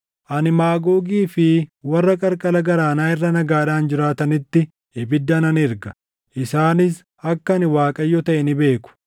Ani Maagoogii fi warra qarqara galaanaa irra nagaadhaan jiraatanitti ibidda nan erga; isaanis akka ani Waaqayyo taʼe ni beeku.